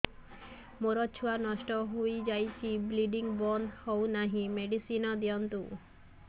ମୋର ଛୁଆ ନଷ୍ଟ ହୋଇଯାଇଛି ବ୍ଲିଡ଼ିଙ୍ଗ ବନ୍ଦ ହଉନାହିଁ ମେଡିସିନ ଦିଅନ୍ତୁ